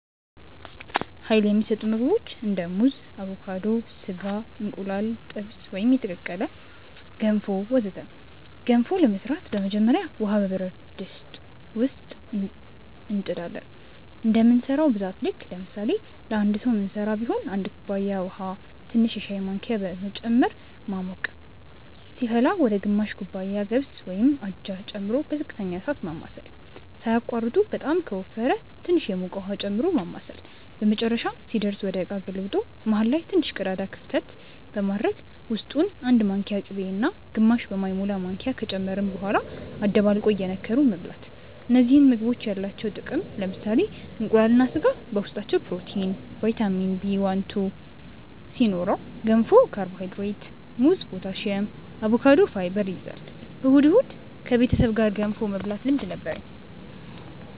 Uይል የሚሰጡ ምግቦች እንደ ሙዝ አቮካዶ፣ ስጋ፣ እንቁላል ጥብስ ወይም የተቀቀለ፣ ገንፎ ወዘተ ገንፎ ለመስራት በመጀመሪያ ውሃ በብረት ድስት እንጥ ዳለን እንደምንሰራው ብዛት ልክ ለምሳሌ ለአንድ ሰዉ ምንስራ ቢሆን 1 ኩባያ ውሃ ትንሽ የሻይ ማንኪያ በመጨመር ማሞቅ ከዛም ሲፈላ ወደ ግማሽ ኩባያ ገብስ (አጃ) ጨምሮ በዝቅተኛ እሳት ማማሰል ሳያቋርጡ በጣም ከወፈረ ትንሽ የሞቀ ውሃ ጨምሮ ማማሳል በመጨረሻም ሲደርስ ወደ እቃ ገልብጦ መሃል ላይ ትንሽ ቀዳዳ ክፍተት በማድረግ ውስጡ 1 ማንኪያ ቅቤ እና ግማሽ በማይሞላ ማንኪያ ከጨመርን በኋላ አደባልቆ እየነከሩ መብላት እነዚህ ምግቦች ያላቸው ጥቅም ለምሳሌ እንቁላል እና ስጋ በውስጣቸው ፕሮቲን፣ ቫይታሚን Bl2 ሲኖረው ገንፎ ካርቦሃይድሬት፣ ሙዝ ፖታሲየም፣ አቮካዶ ፋይበር ይይዛል። እሁድ እሁድ ከቤተሰብ ጋር ገንፎ የመብላት ልምድ ነበርኝ